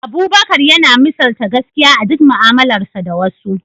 Abubakar yana misalta gaskiya a duk mu’amalarsa da wasu.